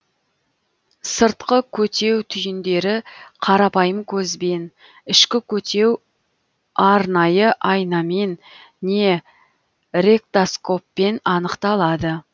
сыртқы көтеу түйіндері қарапайым көзбен ішкі көтеу арнайы айнамен не рек тос коппен анықталады